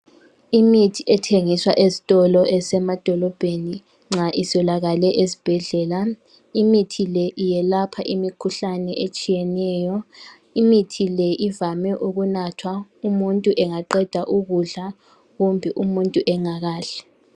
Imithi ethengiswa ezitolo ezisemadolobheni, nxa eswelakale ezibhedlela. Imithi le iyalepha imikhuhlane etshiyeneyo. Imithi le ivame ukunathwa nxa umuntu Engaqeda ukudla kumbe nxa umuntu engakadli.